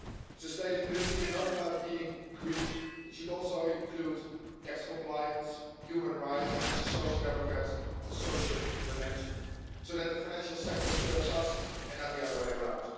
Sustainability is not about being green it should also include tax compliance, human rights, and speaking as a Social Democrat a social dimension, so that the financial sector serves us and not the other way around.